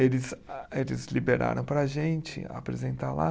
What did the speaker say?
Eles a, eles liberaram para a gente apresentar lá.